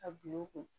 A bi u kun